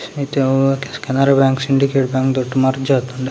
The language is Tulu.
ಈಟೆ ಅವು ಕೆನರ ಬ್ಯಾಂಕ್‌ ಸಿಂಡಿಕೇಟ್‌ ಬ್ಯಾಂಕ್‌ ದೊಟ್ಟ್ ಮರ್ಜ್‌ ಆತುಂಡ್